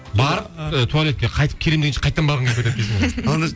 барып туалетке қайтып келемін дегенше қайтадан барғың келіп кетеді дейсің ғой